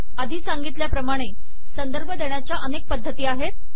आधी सांगितल्याप्रमाणे संदर्भ देण्याच्या अनेक पद्धती आहेत